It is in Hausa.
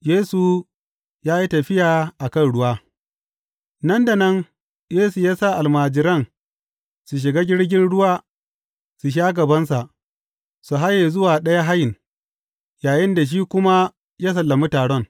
Yesu ya yi tafiya a kan ruwa Nan da nan Yesu ya sa almajiran su shiga jirgin ruwa su sha gabansa, su haye zuwa ɗayan hayin, yayinda shi kuma yă sallami taron.